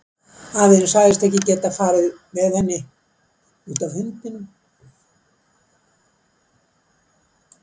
Afi þinn sagðist ekki hafa getað farið með henni, út af hundinum.